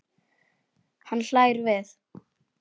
Hann hlær við.